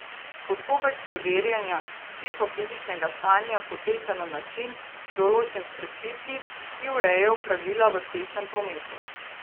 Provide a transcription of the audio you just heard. Postopek preverjanja psihofizičnega stanja poteka na način, določen s predpisi, ki urejajo pravila v cestnem prometu.